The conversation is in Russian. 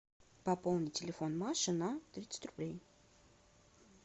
пополни телефон маши на тридцать рублей